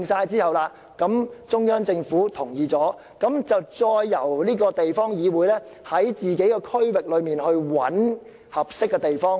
在中央政府同意有關建屋計劃後，便由地方議會在區內尋找合適的地方建屋。